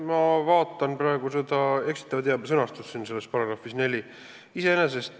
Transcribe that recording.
Ma vaatan praegu § 4 sõnastust, kus käsitletakse eksitavat teavet.